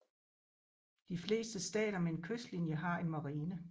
De fleste stater med en kystlinje har en marine